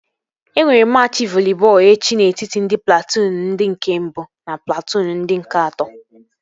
E nwere machị voli bọọlụ echi n'etiti ndị platụụn ndị nke mbụ na platụụn ndị nke atọ